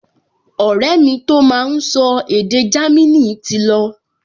Ọ̀rẹ́ mi tó máa n sọ èdè Jámínì ti lọ